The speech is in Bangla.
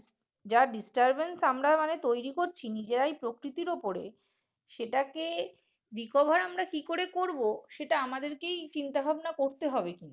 যারা disturbeness আমরা তৈরি করছি